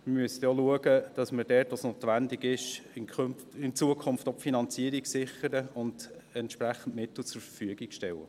Wir müssten auch schauen, dass wir dort, wo es notwendig ist, in Zukunft auch die Finanzierung sichern und entsprechende Mittel zur Verfügung stellen.